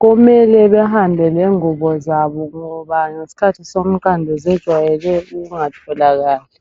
kumele behambe lengubo zabo ngoba ngesikhathi somqando zejwayele ukungatholakali